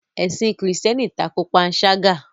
Ẹ̀sìn kírísítẹ́nì tako panṣágà.